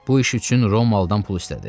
Bu iş üçün Romalıdan pul istədi.